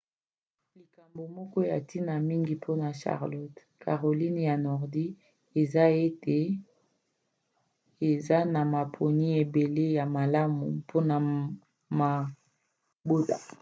likambo moko ya ntina mingi mpona charlotte caroline ya nordi eza ete eza na maponi ebele ya malamu mpona mabota